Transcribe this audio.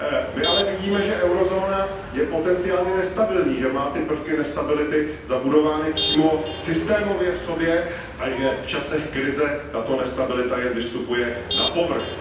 My ale vidíme, že eurozóna je potenciálně nestabilní, že má prvky nestability zabudovány přímo systémově v sobě a že v časech krize tato nestabilita jen vystupuje na povrch.